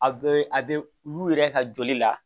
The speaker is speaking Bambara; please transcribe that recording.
A bɛ a bɛ olu yɛrɛ ka joli la